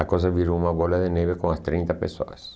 a coisa virou uma bola de neve com as trinta pessoas.